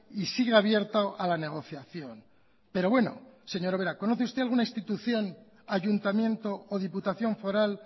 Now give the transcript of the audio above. y sigue abierto a la negociación pero bueno señora ubera conoce usted alguna institución ayuntamiento o diputación foral